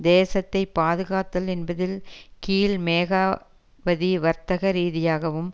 தேசத்தை பாதுகாத்தல் என்பதில் கீழ் மேகாவதி வர்த்தக ரீதியாகவும்